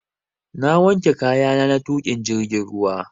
Na wanke kayana na tuƙa jirgin ruwa